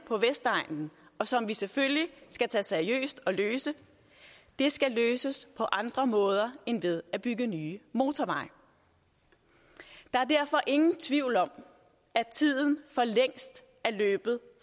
på vestegnen og som vi selvfølgelig skal tage seriøst og løse skal løses på andre måder end ved at bygge nye motorveje der er derfor ingen tvivl om at tiden for længst er løbet